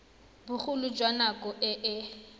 bogolo jwa nako e e